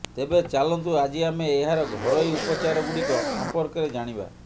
ତେବେ ଚାଲନ୍ତୁ ଆଜି ଆମେ ଏହାର ଘରୋଇ ଉପଚାରଗୁଡ଼ିକ ସମ୍ପର୍କରେ ଜାଣିବା